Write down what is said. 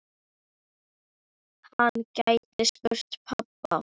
Hann gæti spurt pabba.